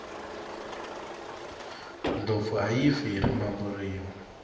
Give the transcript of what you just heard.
ndlopfu ayi fi hi rimbambu rinwe